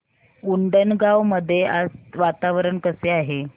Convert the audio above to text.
उंडणगांव मध्ये आज वातावरण कसे आहे